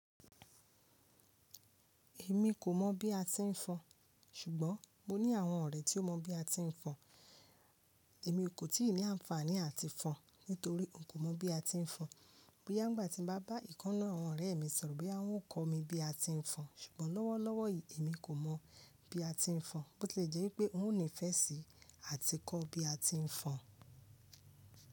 Èmi kò mọ̀ bí a ti ń fọn, ṣùgbọ́n mo ní àwọn ọ̀rẹ́ tí ó mọ bí a ti ń fọn. Èmi kò tíì ní àǹfààní àti fọn nítorí n kò mọ bí a ti ń fọn. Boya n gbà tí m bá bá ìkan nu àwọn ọ̀rẹ́ mi sọ̀rọ̀ pé wọ́n ó kọ́ mi bí a ti ń fọn, ṣùgbọ́n lọ́wọ́lọ́wọ́ èmi kò mọ̀ bí a ti ń fọn. Bo tilejẹ́ wipé òun ò nífẹ́ sí àti kọ́ bí a ti ń fọn.